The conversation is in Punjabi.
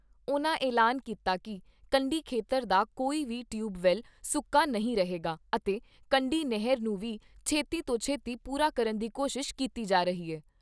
ਉਨ੍ਹਾਂ ਐਲਾਨ ਕੀਤਾ ਕਿ ਕੰਡੀ ਖੇਤਰ ਦਾ ਕੋਈ ਵੀ ਟਿਊਬਵੈੱਲ ਸੁੱਕਾ ਨਹੀਂ ਰਹੇਗਾ ਅਤੇ ਕੰਢੀ ਨਹਿਰ ਨੂੰ ਵੀ ਛੇਤੀ ਤੋਂ ਛੇਤੀ ਪੂਰਾ ਕਰਨ ਦੀ ਕੋਸ਼ਿਸ਼ ਕੀਤੀ ਜਾ ਰਹੀ ਐ।